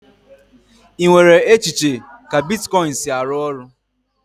Ị nwere echiche ka bitkọịn si arụ ọrụ?